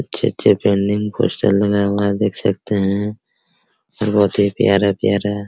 अच्छे अच्छे पोस्टर लगा हुआ है देख सकते हैं और बहुत ही प्यारा प्यारा --